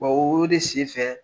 O de sen fɛ